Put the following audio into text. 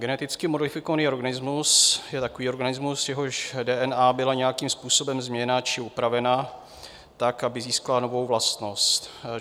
Geneticky modifikovaný organismus je takový organismus, jehož DNA byla nějakým způsobem změněna či upravena tak, aby získala novou vlastnost.